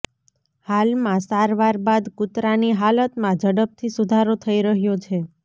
હાલમાં સારવાર બાદ કૂતરાની હાલતમાં ઝડપથી સુધારો થઇ રહ્યો છે